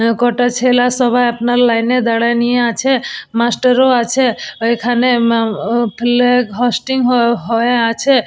এ কটা ছেলে সবাই আপনার লাইন -এ দাঁড়ায় নিয়ে আছে মাস্টার ও আছে ওইখানে মা অ-ও ফিল্যাগ হোস্টিং হ হয়ে আছে।